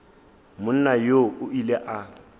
monna yoo o ile a